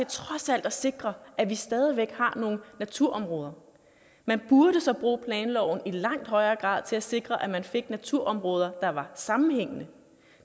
trods alt at sikre at vi stadig væk har nogle naturområder man burde så bruge planloven i langt højere grad til at sikre at man fik naturområder der var sammenhængende